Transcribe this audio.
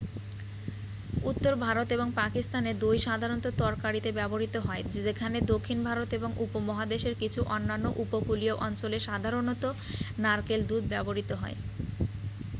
উত্তর ভারত এবং পাকিস্তানে দই সাধারণত তরকারিতে ব্যবহৃত হয় যেখানে দক্ষিণ ভারত এবং উপমহাদেশের কিছু অন্যান্য উপকূলীয় অঞ্চলে সাধারণত নারকেল দুধ ব্যবহৃত হয়